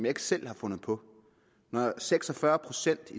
ikke selv har fundet på når seks og fyrre procent